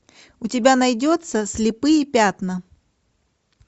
у тебя найдется слепые пятна